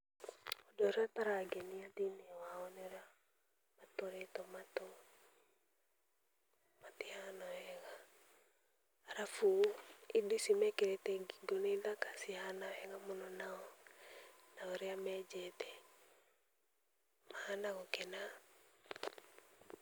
Ũndũ ũrĩa ũtarangenia thĩ-inĩ wao nĩ ũrĩa matũrĩtwo matũ, matihana wega, arabu indo icio mekĩrĩte ngingo nĩ thaka cihana wega mũno nao, na ũrĩa menjete, mahana gũkena.